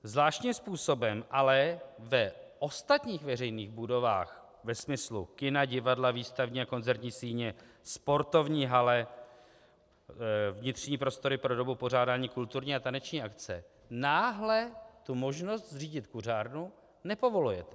Zvláštním způsobem ale v ostatních veřejných budovách ve smyslu kina, divadla, výstavní a koncertní síně, sportovní haly, vnitřní prostory pro dobu pořádání kulturní a taneční akce náhle tu možnost zřídit kuřárnu nepovolujete.